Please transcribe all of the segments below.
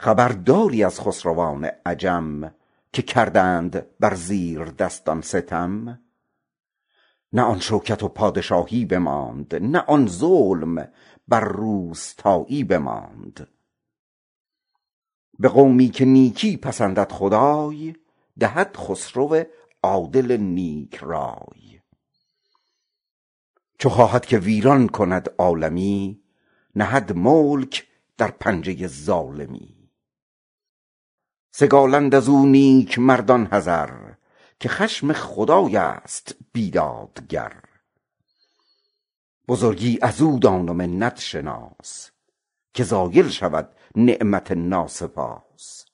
خبرداری از خسروان عجم که کردند بر زیردستان ستم نه آن شوکت و پادشایی بماند نه آن ظلم بر روستایی بماند خطا بین که بر دست ظالم برفت جهان ماند و با او مظالم برفت خنک روز محشر تن دادگر که در سایه عرش دارد مقر به قومی که نیکی پسندد خدای دهد خسروی عادل و نیک رای چو خواهد که ویران شود عالمی کند ملک در پنجه ظالمی سگالند از او نیکمردان حذر که خشم خدای است بیدادگر بزرگی از او دان و منت شناس که زایل شود نعمت ناسپاس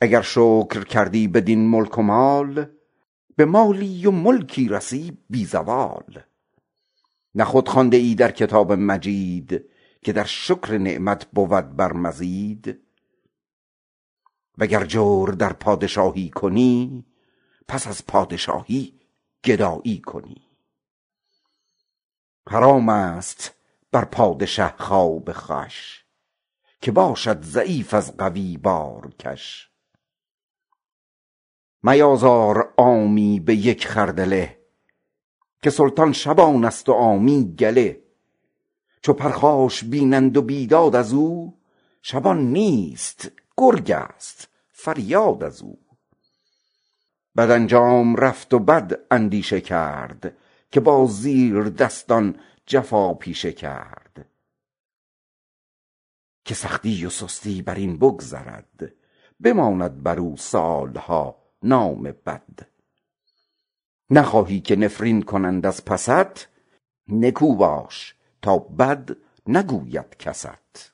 اگر شکر کردی بر این ملک و مال به مالی و ملکی رسی بی زوال وگر جور در پادشایی کنی پس از پادشایی گدایی کنی حرام است بر پادشه خواب خوش چو باشد ضعیف از قوی بارکش میازار عامی به یک خردله که سلطان شبان است و عامی گله چو پرخاش بینند و بیداد از او شبان نیست گرگ است فریاد از او بد انجام رفت و بد اندیشه کرد که با زیردستان جفا پیشه کرد به سختی و سستی بر این بگذرد بماند بر او سالها نام بد نخواهی که نفرین کنند از پست نکو باش تا بد نگوید کست